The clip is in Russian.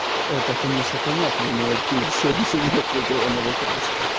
это конечно понятно но ты все ещё не ответила на вопрос